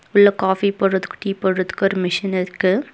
உள்ள காஃபி போட்றதுக்கு டீ போட்றதுக்கு ஒரு மிஷின் இருக்கு.